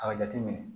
A jateminɛ